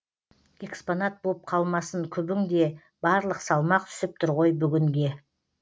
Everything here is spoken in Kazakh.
экспонат боп қалмасын күбің де барлық салмақ түсіп тұр ғой бүгінге